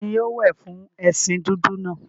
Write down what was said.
Ta ni yóò wẹ̀ fún ẹṣin dúdú náà?